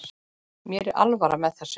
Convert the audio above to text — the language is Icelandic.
Mér er alvara með þessu.